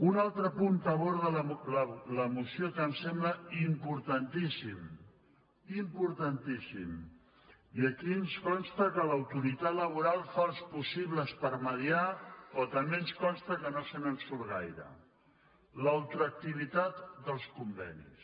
un altre punt que aborda la moció que em sembla im·portantíssim importantíssim i aquí ens consta que l’autoritat laboral fa els possibles per mitjançar però també ens consta que no se’n surt gaire la ultraactivi·tat dels convenis